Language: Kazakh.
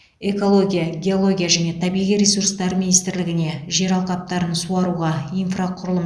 экология геология және табиғи ресурстар министрлігіне жер алқаптарын суаруға инфрақұрылым